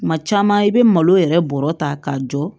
Kuma caman i bɛ malo yɛrɛ bɔrɔ ta k'a jɔ